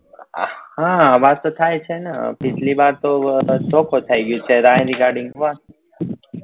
હા અવાજ તો થાય છે ને પિછલી વાર તો વા